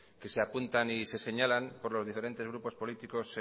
que se apuntan y se señalan por los diferentes grupos políticos